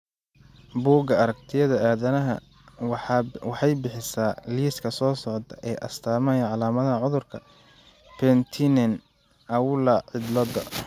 Bugga Aaragtiyaha Aadanaha waxay bixisaa liiska soo socda ee astamaha iyo calaamadaha cudurka Penttinen Aula cillda.